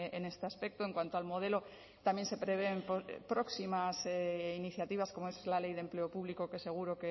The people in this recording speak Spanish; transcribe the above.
en este aspecto en cuanto al modelo también se prevén próximas iniciativas como es la ley de empleo público que seguro